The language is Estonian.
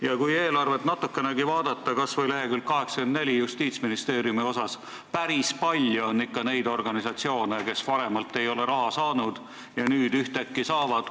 Ja kui eelarve seletuskirja natukenegi hoolikamalt vaadata, kas või lehekülge 84, kus on kirjas Justiitsministeeriumi kulud, siis näeme, et päris palju on neid organisatsioone, kes varem ei ole raha saanud ja nüüd ühtäkki saavad.